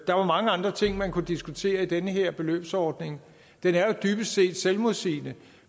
der var mange andre ting man kunne diskutere i den her beløbsordning den er dybest set selvmodsigende